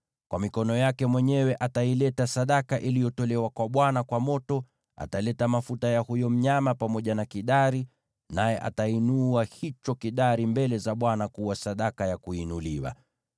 Ataleta sadaka kwa mikono yake mwenyewe iliyotolewa kwa Bwana kwa moto; ataleta mafuta ya huyo mnyama pamoja na kidari, naye atainua hicho kidari mbele za Bwana kuwa sadaka ya kuinuliwa.